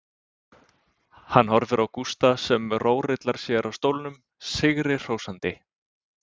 Hann horfir á Gústa sem rórillar sér á stólnum, sigri hrósandi.